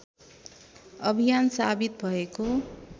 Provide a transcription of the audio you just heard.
अभियान साबित भएको